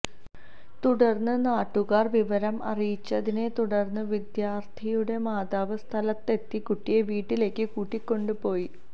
തുടര്ന്ന് നാട്ടുകാര് വിവരം അറിയിച്ചതിനെതുടര്ന്ന് വിദ്യാര്ത്ഥിനിയുടെ മാതാവ് സ്ഥലത്തെത്തി കുട്ടിയെ വീട്ടിലേക്ക് കൂട്ടിക്കൊണ്ട് പോയി